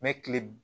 Mɛ tile